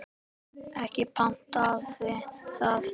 Ekki batnaði það!